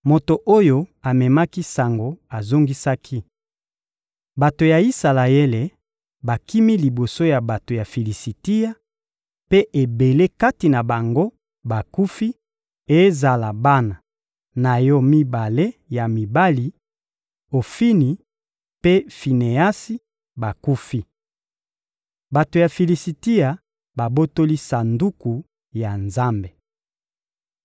Moto oyo amemaki sango azongisaki: — Bato ya Isalaele bakimi liboso ya bato ya Filisitia, mpe ebele kati na bango bakufi; ezala bana na yo mibale ya mibali, Ofini mpe Fineasi, bakufi. Bato ya Filisitia babotoli Sanduku ya Nzambe.